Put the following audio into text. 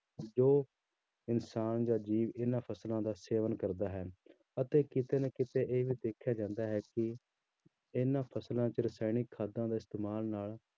ਜੋ ਇਨਸਾਨ ਜਾਂ ਜੀਵ ਇਹਨਾਂ ਫ਼ਸਲਾਂ ਦਾ ਸੇਵਨ ਕਰਦਾ ਹੈ ਅਤੇ ਕਿਤੇ ਨਾ ਕਿਤੇ ਇਹ ਦੇਖਿਆ ਜਾਂਦਾ ਹੈ ਕਿ ਇਹਨਾਂ ਫ਼ਸਲਾਂ ਚ ਰਸਾਇਣਿਕ ਖਾਦਾਂ ਦਾ ਇਸਤੇਮਾਲ ਨਾਲ